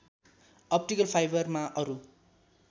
optical फाइबरमा अरू